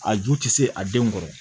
A ju tɛ se a denw kɔrɔ